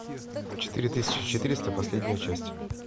четыре тысячи четыреста последняя часть